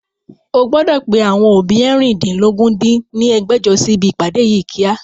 O gbọ́dọ̀ pe àwọn òbí eérìndínlógún dín ní ẹgbẹ́jọ sí ibi ìpàdé yí kíá!